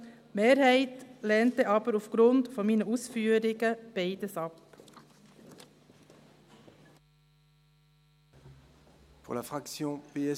die Mehrheit lehnt jedoch aufgrund meiner Ausführungen beides ab.